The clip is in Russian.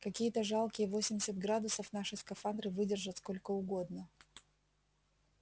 какие-то жалкие восемьдесят градусов наши скафандры выдержат сколько угодно